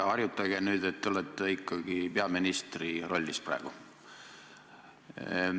Härra Helme, püüdke ikkagi sellega harjuda, et te olete peaministri rollis praegu.